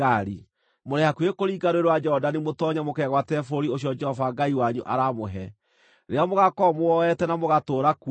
Mũrĩ hakuhĩ kũringa Rũũĩ rwa Jorodani mũtoonye mũkegwatĩre bũrũri ũcio Jehova Ngai wanyu aramũhe. Rĩrĩa mũgaakorwo mũwoete na mũgatũũra kuo-rĩ,